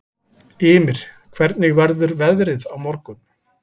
Ymir, hvernig verður veðrið á morgun?